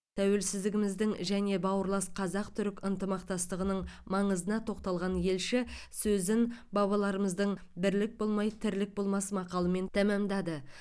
тәуелсіздігіміздің және бауырлас қазақ түрік ынтымақтастығының маңызына тоқталған елші сөзін бабаларымыздың бірлік болмай тірлік болмас мақалымен тәмамдады